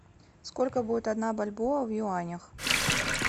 сколько будет одна бальбоа в юанях